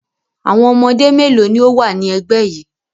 Àwọn ọmọdé mélòó ni ó wà ní ẹgbẹ́ yìí?